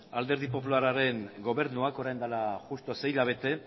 alderdi popularraren gobernuak orain dela justu sei hilabete